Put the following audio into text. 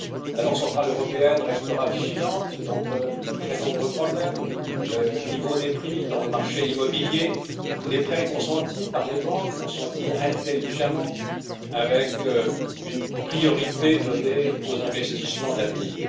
La Banque centrale européenne restera vigilante quant à de très nombreux problèmes le niveau des prix sur le marché immobilier, les prêts consentis par les banques consentis intelligemment avec une priorité donnée aux investissements d'avenir.